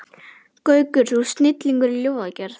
Gaukur, þú ert snillingur í ljóðagerð.